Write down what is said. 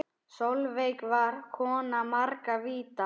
Sólveig var kona margra vídda.